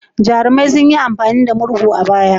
Jarumai sun yi amfani da murhu a baya.